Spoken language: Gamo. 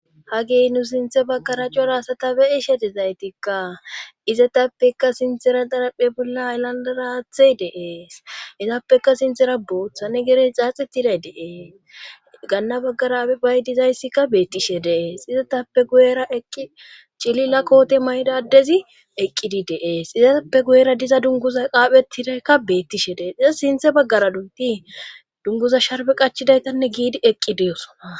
ha gey nu sinthe baggara cora asata beyi shedizaytikka izatappeka sintera daraphe bolla alandaraathey dees izappeka sinthera boothane gerey xaaxetiday dee gaanna baggara ae bay dizayssikka beettishe dees izatappe guyera eqqi cilila koote maydadezi eqqidi deees izatappe guyera diza dunguza qaaphetidakka beettishe dee diza sinthe baggara dunti dunguza sharbe qachidaytanne giidi eqqi deyosoa